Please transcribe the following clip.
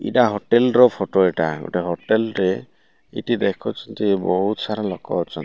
ଇଟା ହୋଟେଲ୍ ର ଫଟ ଏଟା ଗୋଟେ ହୋଟେଲ୍ ରେ ଏଠି ଦେଖିଛନ୍ତି ବୋହୁତ୍ ସାରା ଲୋକ ଅଛନ୍ତି।